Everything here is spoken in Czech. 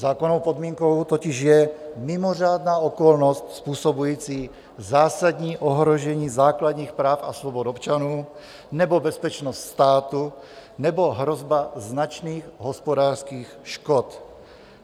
Zákonnou podmínkou totiž je mimořádná okolnost způsobující zásadní ohrožení základních práv a svobod občanů nebo bezpečnost státu nebo hrozba značných hospodářských škod.